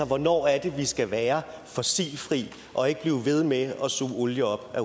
hvornår er det vi skal være fossilfri og ikke blive ved med at suge olie op